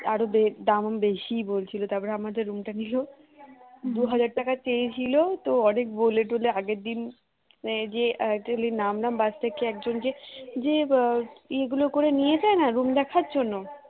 আর ওদের দামও বেশি বলছিল তারপর আমাদের room টা নিল দুই হাজার টাকা চেয়েছিল তো অনেক বলে টলে আগের দিন যে actually নামলাম bus থেকে। একজন যে এগুলো করে নিয়েছে না room দেখার জন্য